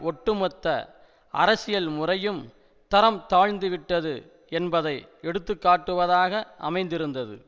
ஒட்டுமொத்த அரசியல் முறையும் தரம் தாழ்ந்துவிட்டது என்பதை எடுத்து காட்டுவதாக அமைந்திருந்தது